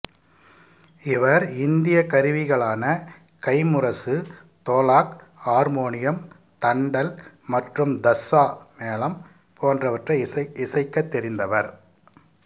இவர் இந்திய கருவிகளான கைம்முரசு தோலாக் ஆர்மோனியம் தண்டல் மற்றும் தஸ்ஸா மேளம் போன்றவற்றை இசைக்கத் தெரிந்தவர்